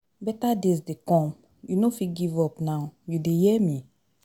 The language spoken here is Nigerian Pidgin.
Beta days dey come, you no fit give up now, you dey hear me